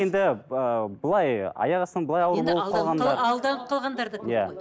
енді былай аяқ астынан